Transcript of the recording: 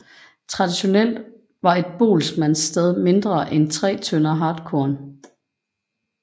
Traditionelt var et boelsmandssted mindre end 3 tønder hartkorn